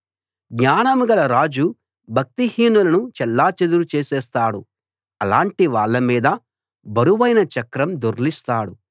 జ్ఞానంగల రాజు భక్తిహీనులను చెల్లా చెదరు చేసేస్తాడు అలాటి వాళ్ళ మీద బరువైన చక్రం దొర్లిస్తాడు